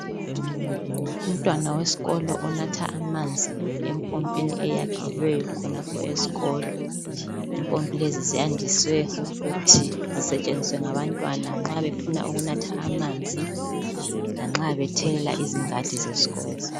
umuntwana wesikolo onatha amanzi empompini eyakhelweyokhonapho esikolo impompilezi ziyandise ukusetshenziswa ngabantwana nxabefuna ukunatha amanzi lanxa bethelela izingadi zesikolo